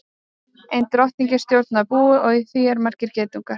Ein drottning stjórnar búi og í því eru margir geitungar.